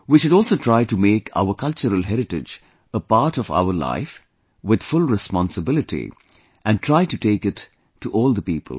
We should also try to make our cultural heritage a part of our life with full responsibility and try to take it to all the people